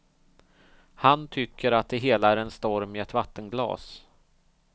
Han tycker att det hela är en storm i ett vattenglas.